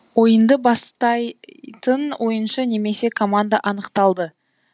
ойынды бастайтын ойыншы немесе команда анықталады